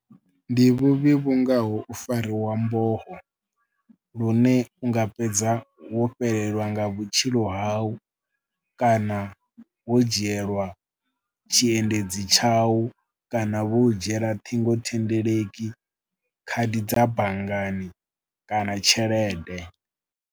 Ndi vhuvhi vhu ngaho u fariwa mboho lune u nga fhedza wo fhelelwa nga vhutshilo hau kana wo dzhielwa tshiendedzi tshau kana vho dzhiela ṱhingothendeleki, khadi dza banngani kana tshelede.